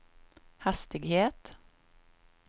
hastighet